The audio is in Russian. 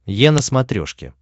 е на смотрешке